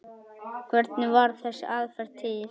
Hvernig varð þessi aðferð til?